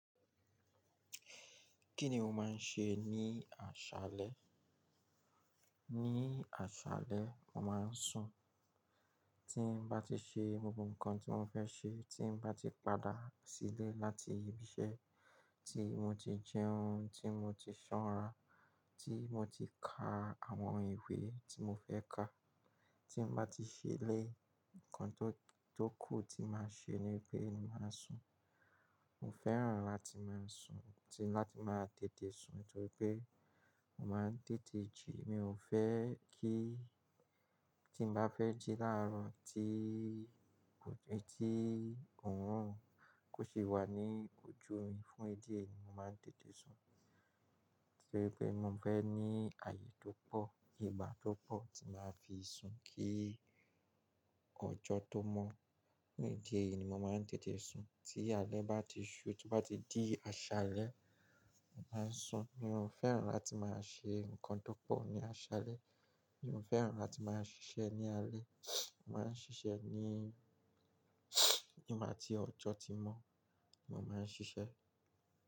Kí ni o máa ń ṣe ní àṣálẹ́? Ní àṣálẹ́, mo máa ń sùn. Tí n bá ti ṣe gbogbo nǹkan tí mo fẹ́ ṣe, tí n bá ti padà sílé láti ibi iṣẹ́, tí mo ti jẹun, tí mo ti ṣora, tí mo ti ka àwọn ìwé tí mo fẹ́ ka, tí n bá ti ṣe eléyìí nǹkan tó kù tí màá ṣe nípe máa sùn. Mo fẹ́ràn láti máa sùn, ti máa tètè sùn nítorí pé mo máa ń tètè jí. Mi ò fẹ́ kí tí n bá fẹ́ jí láàárọ̀ tí òórùn kò ṣe wà ní ojú mi. Fún ìdí èyí ni mo máa ń tètè sùn. Nítorí pé mo fẹ́ ní ààyè tó pọ̀, ìgbà tó pọ̀ tí màá fi sùn kí ọjọ́ tó mọ́. Fún ìdí èyí ni mo máa ń tètè sùn. Tí alẹ́ bá ti ṣú, tí bá ti di àṣálẹ́, màá sùn. Mi ò fẹ́ràn láti máa ṣe nǹkan tó pọ̀ ní àṣálẹ́. Mi ò fẹ́ràn láti máa ṣiṣẹ́ ní alẹ́. Mo máa ń ṣiṣẹ́ ní nígbà tí ọjọ́ ti mọ́ ni mo máa ń ṣiṣẹ́